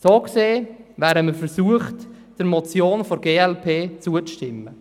So gesehen, wären wir versucht, der Motion der glp zuzustimmen.